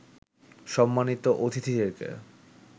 সম্মানিত অতিথিদেরকে